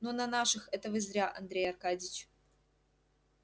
ну на наших это вы зря андрей аркадьич